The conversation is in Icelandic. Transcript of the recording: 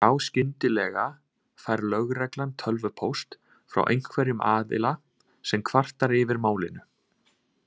Þá skyndilega fær lögreglan tölvupóst frá einhverjum aðila sem kvartar yfir málinu.